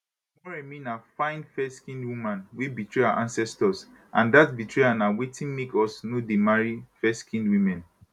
moremi na fine fairskinned woman wey betray our ancestors and dat betrayal na wetin make us no dey marry fairskinned women